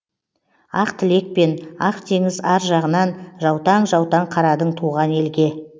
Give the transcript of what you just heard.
ақ тілекпен ақ теңіз ар жағынан жаутаң жаутаң қарадың туған елге